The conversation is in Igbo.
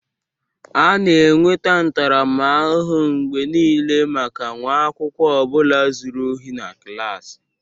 A na-enweta ntaramahụhụ mgbe niile maka nwa akwụkwọ ọ bụla zuru ohi na klaasị.